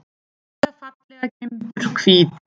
Hvíta fallega gimbur, hvíta.